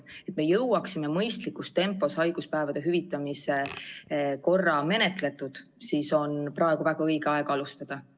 Selleks, et me jõuaksime mõistlikus tempos haiguspäevade hüvitamise korra menetletud, on praegu väga õige aeg alustada.